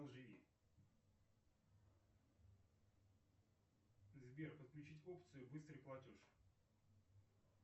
сбер подключить опцию быстрый платеж